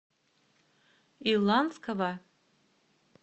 иланского